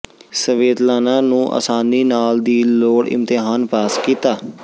Svetlana ਨੂੰ ਆਸਾਨੀ ਨਾਲ ਦੀ ਲੋੜ ਇਮਤਿਹਾਨ ਪਾਸ ਕੀਤਾ